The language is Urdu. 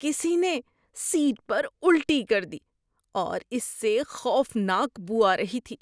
کسی نے سیٹ پر الٹی کر دی اور اس سے خوفناک بو آ رہی تھی۔